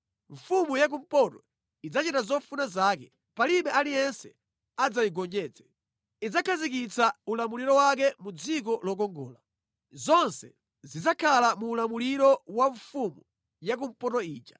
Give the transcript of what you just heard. Mfumu ya kumpoto idzachita zofuna zake; palibe aliyense adzayigonjetse. Idzakhazikitsa ulamuliro wake mu Dziko Lokongola. Zonse zidzakhala mu ulamuliro wa mfumu yakumpoto ija.